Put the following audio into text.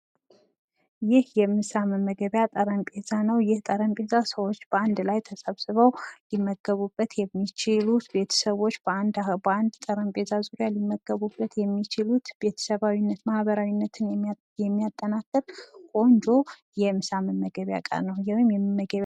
ይህ የምሳ መመገቢያ ጠረጴዛ ነዉ። ይህ ጠረጴዛ ሰዎች በአንድ ላይ ተሰብስበዉ ሊመገቡበት የሚችሉት ቤተሰቦች በአንድ ጠረጴዛ ዙሪያ ሊመገቡበት የሚችሉት ቤተሰባዊነት ማህበራዊነት የሚያጠናክር ቆንጆ የምሳ መመገቢያ እቃ ነዉ። ወይም የመመገቢያ ጠረጴዛ ነዉ።